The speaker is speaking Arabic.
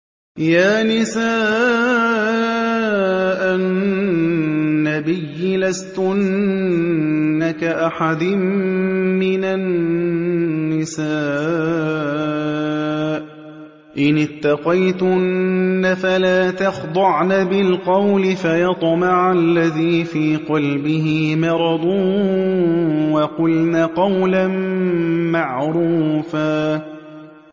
يَا نِسَاءَ النَّبِيِّ لَسْتُنَّ كَأَحَدٍ مِّنَ النِّسَاءِ ۚ إِنِ اتَّقَيْتُنَّ فَلَا تَخْضَعْنَ بِالْقَوْلِ فَيَطْمَعَ الَّذِي فِي قَلْبِهِ مَرَضٌ وَقُلْنَ قَوْلًا مَّعْرُوفًا